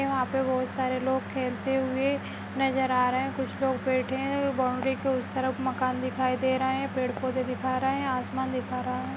यहाँ पे बहुत सारे लोग खेलते हुए नजर आ रहे हैं कुछ लोग बैठे हुए हैं बाउंड्री के उस तरफ मकान दिखाई दे रहे है पेड़-पौधे दिखा रहा है आसमान दिखा रहा है।